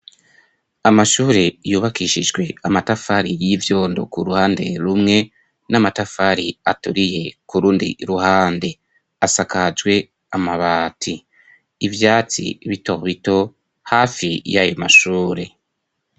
Amashure yubakishijwe amatafari y'ivyondo ku ruhande rumwe n'amatafari aturiye kurundi ruhande asakajwe amabati, ivyatsi bitobito hafi y'ayo mashure.